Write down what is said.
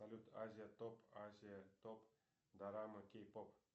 салют азия топ азия топ дорама кей поп